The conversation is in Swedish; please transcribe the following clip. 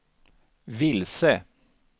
vilse